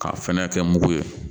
K'a fɛnɛ kɛ mugu ye